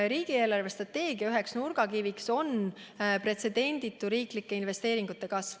Riigi eelarvestrateegia üheks nurgakiviks on pretsedenditu riiklike investeeringute kasv.